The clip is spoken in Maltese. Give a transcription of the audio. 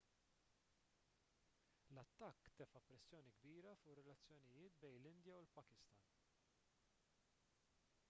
l-attakk tefa' pressjoni kbira fuq ir-relazzjonijiet bejn l-indja u l-pakistan